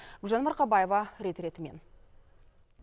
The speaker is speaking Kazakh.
гүлжан марқабаева рет ретімен